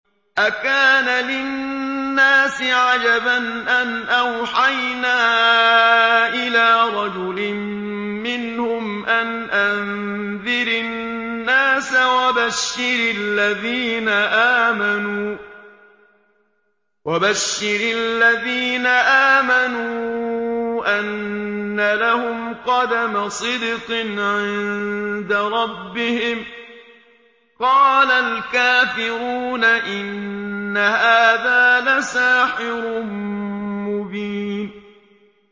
أَكَانَ لِلنَّاسِ عَجَبًا أَنْ أَوْحَيْنَا إِلَىٰ رَجُلٍ مِّنْهُمْ أَنْ أَنذِرِ النَّاسَ وَبَشِّرِ الَّذِينَ آمَنُوا أَنَّ لَهُمْ قَدَمَ صِدْقٍ عِندَ رَبِّهِمْ ۗ قَالَ الْكَافِرُونَ إِنَّ هَٰذَا لَسَاحِرٌ مُّبِينٌ